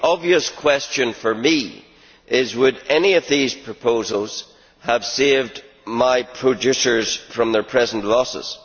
The obvious question for me is would any of these proposals have saved my producers from their present losses?